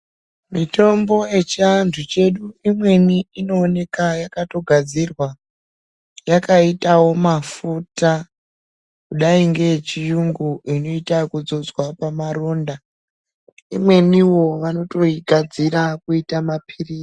Mitombo yechiantu chedu imweni inoonekwa yakagadzirwa yakaitawo mafuta kudai neye chirungu inoita yekudzodzwa pamaronda imweni vanoigadzira kuita mapirizi.